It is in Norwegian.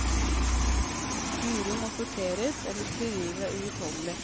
Uro må sorteres, ellers blir livet uutholdelig.